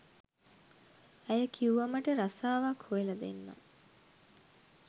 ඇය කිව්වා මට රස්සාවක් හොයලා දෙන්නම්